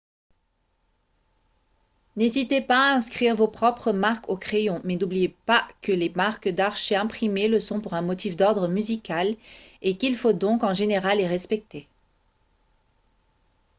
n'hésitez pas à inscrire vos propres marques au crayon mais n'oubliez pas que les marques d'archet imprimées le sont pour un motif d'ordre musical et qu'il faut donc en général les respecter